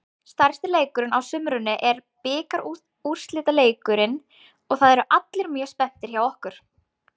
Stærsti leikurinn á sumrinu er bikarúrslitaleikurinn og það eru allir mjög spenntir hjá okkur.